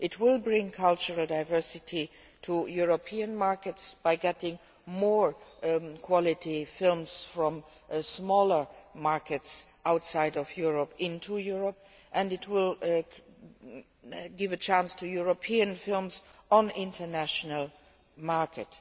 It will bring cultural diversity to European markets by getting more quality films from smaller markets outside Europe into Europe, and it will give a chance to European films on the international market.